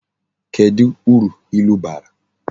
Kedu uru ilu bara?